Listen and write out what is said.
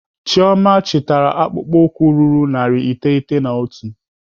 Chioma chitara akpụkpọ ụkwụ ruru narị iteghete na otu.